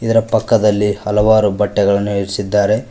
ಇರ ಪಕ್ಕದಲ್ಲಿ ಹಲವಾರು ಬಟ್ಟೆಗಳನ್ನು ಇರ್ಸಿದಾರೆ.